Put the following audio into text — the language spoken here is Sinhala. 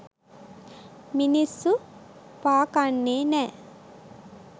මිනිස්සු පා කන්නේ නෑ.